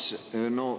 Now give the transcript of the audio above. Hea Urmas!